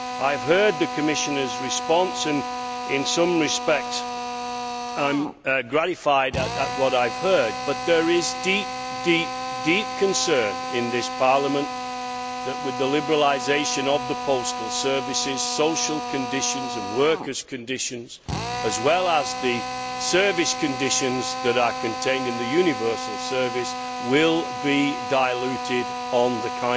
I have heard the Commissioner's response and, in some respects, I am gratified at what I have heard, but there is deep concern in this Parliament that, with the liberalisation of the postal services, social conditions and workers' conditions, as well as the service conditions that are contained in the universal service, will be diluted on the